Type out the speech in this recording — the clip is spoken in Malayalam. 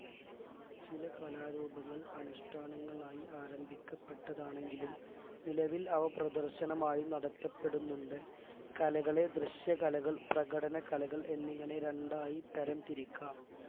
ചിലകാലരൂപങ്ങൾ അനുഷ്‌ഠാനങ്ങളായി ആരംഭിക്കപ്പെട്ടതാണെങ്കിലും നിലവിൽ അവ പ്രദർശനമായി നടത്തപ്പെടുന്നുണ്ട് കലകളെ ദൃശ്യകലകൾ പ്രകടനകലകൾ എന്നിങ്ങനെ രണ്ടായിതരംതിരിക്കാം